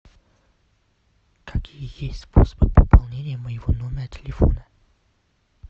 какие есть способы пополнения моего номера телефона